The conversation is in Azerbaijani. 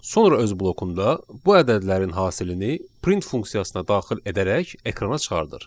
Sonra öz blokunda bu ədədlərin hasilini print funksiyasına daxil edərək ekrana çıxarır.